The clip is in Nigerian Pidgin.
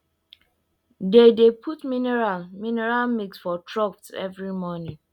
they dey put mineral mineral mix for troughs every morning